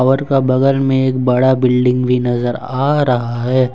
घर का बगल में एक बड़ा बिल्डिंग भी नजर आ रहा है।